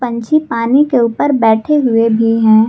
पंछी पानी के ऊपर बैठे हुए भी हैं।